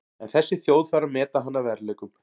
En þessi þjóð þarf að meta hann að verðleikum.